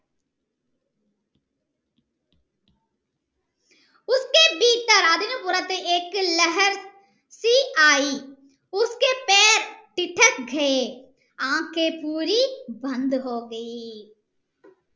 അതിനു പുറത്തു